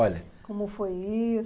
Olha. Como foi isso?